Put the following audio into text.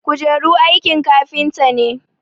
kujeru aikin kafinta ne